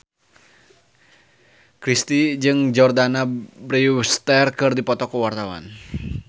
Chrisye jeung Jordana Brewster keur dipoto ku wartawan